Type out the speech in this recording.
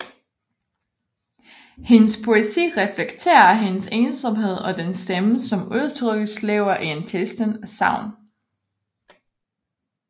Hendes poesi reflekterer hendes ensomhed og den stemme som udtrykkes lever i en tilstand af savn